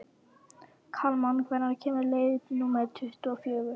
Kalman, hvenær kemur leið númer tuttugu og fjögur?